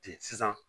Ten sisan